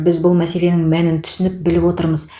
біз бұл мәселенің мәнін түсініп біліп отырмыз